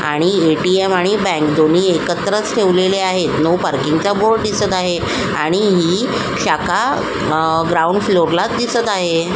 आणि एटीएम आणि बँक दोन्ही एकत्रच ठेवलेले आहेत नो पार्किंग चा बोर्ड दिसत आहे आणि ही शाखा आ ग्राउंड फ्लोअरला दिसत आहे.